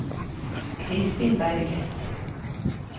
Kristin Berget